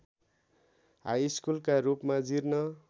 हाइस्कुलका रूपमा जीर्ण